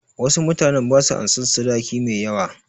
Wasu mutanen ba su ansan sadaki mai yawa.